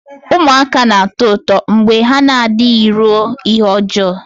Ụmụaka na-atọ ụtọ mgbe ha na-adịghị ruo ihe ọjọọ